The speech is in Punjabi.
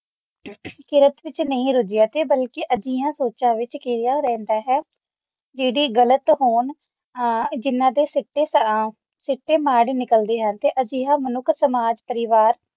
ਕਿਰਤ ਵਿੱਚ ਨਹੀਂ ਲੱਗਿਆ ਤੇ ਬਲਕਿ ਅਜਿਹੀਆਂ ਸੋਚਾਂ ਵਿਚ ਗਿਰੀਆ ਰਹਿੰਦਾ ਹੈ ਜਿਹੜੀ ਗਲਤ ਹੋਣ ਜਿਹਨਾ ਦੇ ਸੀਤੇ ਜਿਨ੍ਹਾਂ ਦੇ ਸਿਰ ਤੇ ਤਾਂ ਸਿੱਟੇ ਮਾੜੇ ਨਿਕਲਣਗੇ ਤੇ ਅਜਿਹਾ ਮਨੁੱਖ ਸਮਾਜ ਪਰਿਵਾਰ